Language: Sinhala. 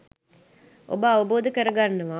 ඔබ අවබෝධ කරගන්නවා.